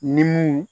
Ni mun